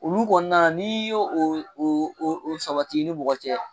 Olu kɔni na n'i y'o o o o sabati ni mɔgɔ cɛ.